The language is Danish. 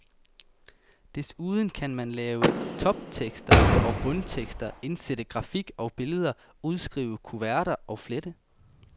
Desuden kan man lave toptekster og bundtekster, indsætte grafik og billeder, udskrive kuverter, flette.